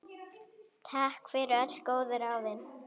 Takk fyrir öll góðu ráðin.